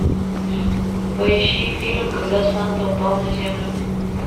поищи фильм когда санта упал на землю